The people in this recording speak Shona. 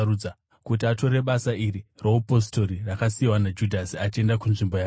kuti atore basa iri roupostori, rakasiyiwa naJudhasi achienda kunzvimbo yake.”